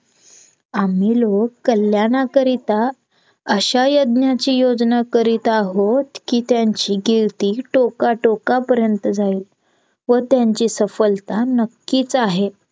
आम्ही लोक कल्याणाकरिता अश्या यज्ञाची योजना करीत आहोत कि त्यांची कीर्ती टोका टोका पर्यंत जाईल व त्यांची सफलता नक्कीच आहे